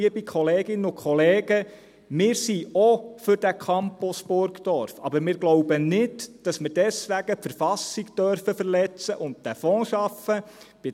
Liebe Kolleginnen und Kollegen, wir sind auch für den Campus Burgdorf, aber wir glauben nicht, dass wir deswegen die Verfassung verletzen und diesen Fonds schaffen dürfen.